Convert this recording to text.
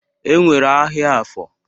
E nwere ahịa Afọ.